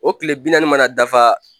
O kile bi naani mana dafa